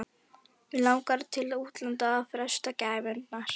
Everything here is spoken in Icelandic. Mig langar til útlanda að freista gæfunnar.